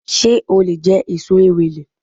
Sé o lè je èso Ewèlè